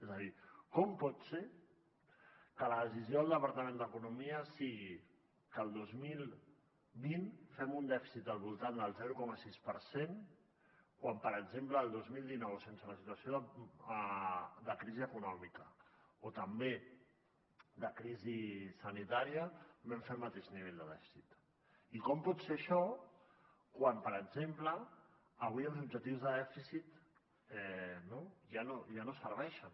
és a dir com pot ser que la decisió del departament d’economia sigui que el dos mil vint fem un dèficit al voltant del zero coma sis per cent quan per exemple el dos mil dinou sense la situació de crisi econòmica o també de crisi sanitària vam fer el mateix nivell de dèficit i com pot ser això quan per exemple avui els objectius de dèficit ja no serveixen